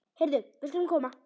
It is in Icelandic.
Heyrðu, við skulum koma.